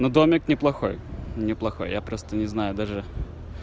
ну домик неплохой не плохой я просто не знаю даже